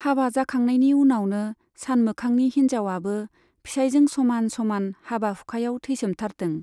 हाबा जाखांनायनि उनावनो सानमोखांनि हिन्जाव आबो फिसाइजों समान समान हाबा हुखायाव थैसोमथारदों।